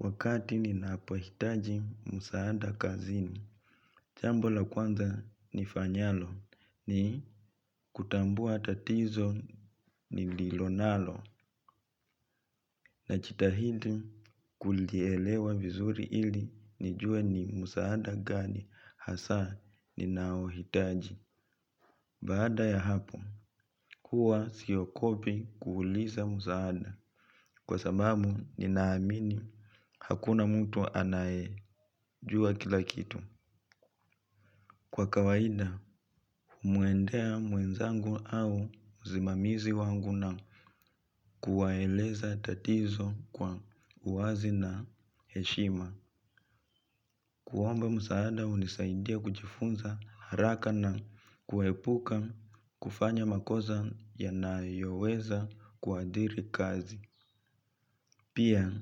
Wakati ninapohitaji msaada kazini, jambo la kwanza nifanyalo ni kutambua tatizo nililo nalo najitahidi kulielewa vizuri ili nijue ni msaada gani hasa ninaohitaji. Baada ya hapo, huwa siogopi kuuliza msaada. Kwa sababu ninaamini hakuna mtu anayejua kila kitu. Kwa kawaida, humwendea mwenzangu au msimamizi wangu na kuwaeleza tatizo kwa uwazi na heshima. Kuomba msaada hunisaidia kujifunza haraka na kuepuka kufanya makosa yanayoweza kuathiri kazi. Pia,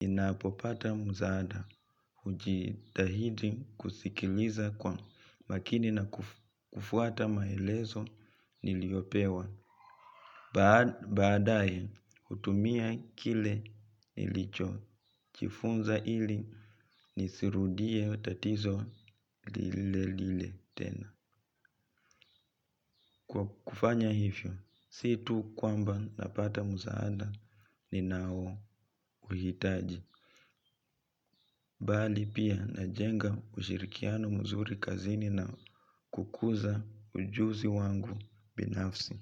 ninapopata msaada hujitahidi kusikiliza kwa makini na kufuata maelezo niliyopewa. Baadaye, hutumia kile nilichojifunza ili nisirudie tatizo lile lile tena. Kufanya hivyo si tu kwamba napata msaada ninaouhitaji. Bali pia najenga ushirikiano mzuri kazini na kukuza ujuzi wangu binafsi.